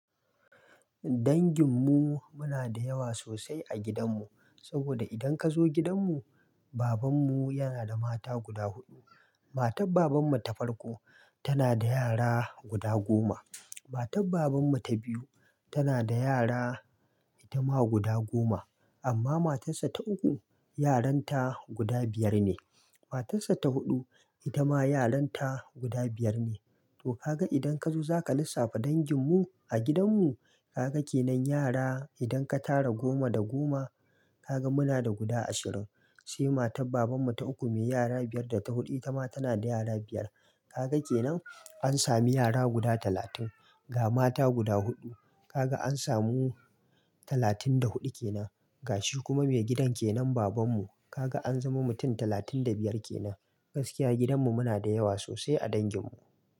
Dangin mu muna da yawa sosai a gidan mu, saboda idan ka zo gidan mu, Baban mu yana da mata guda huɗu. Matar Baban mu ta farko tana da yara guda goma. Matar Baban mu ta biyu tana da yara itama guda goma. Amma matar sa ta uku, yaran ta guda biyar ne. Matar sa ta huɗu, itama yaran ta guda biyar ne. To kaga idan ka zo zaka lissafa dangin mu a gidan mu, kaga kenan yara. Idan ka tara goma da goma, kaga muna da guda ashirin. Sai matar Baban mu ta uku, me yara biyar, da ta huɗu itama tana da yara biyar. Kaga kenan an sami yara guda talatin. Ga mata guda huɗu, kaga an samu talatin da huɗu kenan. Ga shi kuma me gidan kenan Baban mu, kaga an zama mutum talatin da biyar kenan. Gaskiya gidan mu muna da yawa sosai a dangin mu.